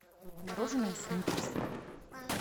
мороженое сникерс